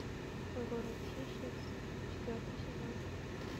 город хищниц четвертый сезон